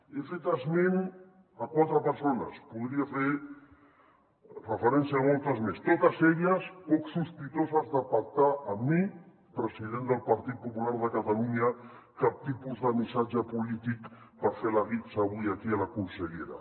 he fet esment a quatre persones podria fer referència a moltes més totes elles poc sospitoses de pactar amb mi president del partit popular de catalunya cap tipus de missatge polític per fer la guitza avui aquí a la consellera